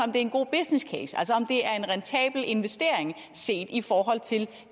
er en god business case altså om det er en rentabel investering set i forhold til